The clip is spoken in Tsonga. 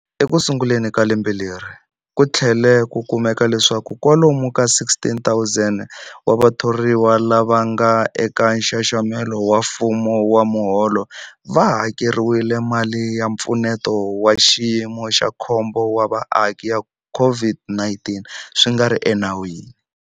Ekusunguleni ka lembe leri, ku tlhele ku kumeka leswaku kwalomu ka 16,000 wa vathoriwa lava nga eka nxaxamelo wa mfumo wa miholo va hakeriwile mali ya Mpfuneto wa Xiyimo xa Khombo wa Vaaki ya COVID-19 swi nga ri enawini.